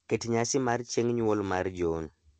Ket nyasi mar chieng' nyuol mar John.